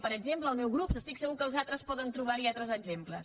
per exemple el meu grup estic segur que els altres poden trobar altres exemples